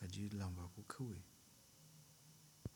gaji lamba kawai.